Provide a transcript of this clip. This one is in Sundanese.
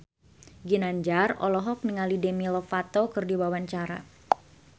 Ginanjar olohok ningali Demi Lovato keur diwawancara